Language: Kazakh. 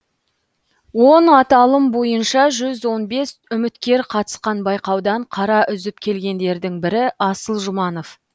он аталым бойынша жүз он бес үміткер қатысқан байқаудан қара үзіп келгендердің бірі асыл жұманов